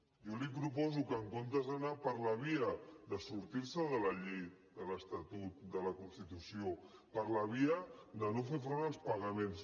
jo li proposo que en comptes d’anar per la via de sortir se de la llei de l’estatut de la constitució per la via de no fer front als pagaments